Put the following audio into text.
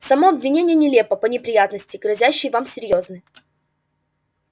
само обвинение нелепо но неприятности грозящие вам серьёзны